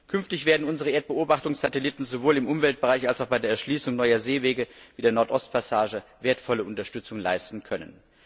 Künftig werden unsere Erdbeobachtungssatelliten sowohl im Umweltbereich als auch bei der Erschließung neuer Seewege wie der Nord Ost Passage wertvolle Unterstützung leisten können.